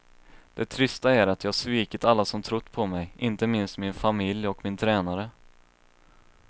Det trista är att jag svikit alla som trott på mig, inte minst min familj och min tränare.